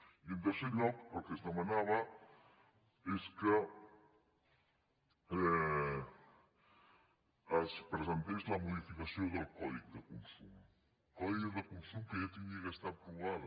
i en tercer lloc el que es demanava és que es presentés la modificació del codi de consum del codi de consum que ja hauria d’estar aprovada